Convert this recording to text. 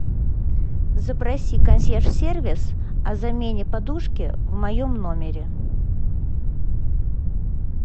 запроси консьерж сервис о замене подушки в моем номере